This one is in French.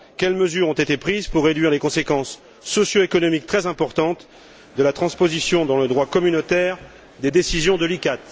Quelles mesures ont été prises pour réduire les conséquences socio économiques très importantes de la transposition dans le droit communautaire des décisions de la CICTA?